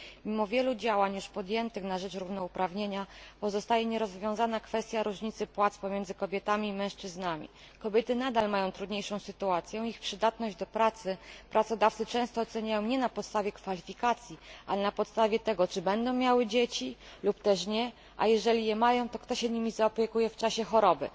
Mimo wielu działań podjętych na rzecz równouprawnienia nierozwiązana pozostaje kwestia różnicy płac pomiędzy kobietami i mężczyznami. Kobiety nadal mają trudniejszą sytuację, ich przydatność do pracy pracodawcy często oceniają nie na podstawie kwalifikacji, ale na podstawie tego, czy będą miały dzieci lub też nie, a jeżeli je mają, to kto się nimi zaopiekuje w czasie choroby.